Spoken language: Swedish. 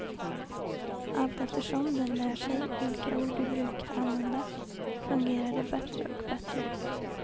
Allteftersom den lär sig vilka ord du brukar använda fungerar det bättre och bättre.